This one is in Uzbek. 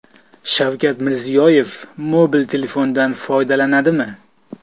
Shavkat Mirziyoyev mobil telefondan foydalanadimi?.